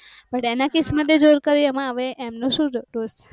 But એના કિસ્સો માં તે જોયું હશે કે કર્યું એમનું શું જતું હશે